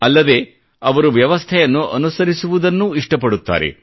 ಅಲ್ಲದೆ ಅವರು ವ್ಯವಸ್ಥೆಯನ್ನು ಅನುಸರಿಸುವುದನ್ನೂ ಇಷ್ಟಪಡುತ್ತಾರೆ